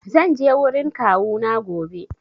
Zan je wurin kawuna gobe.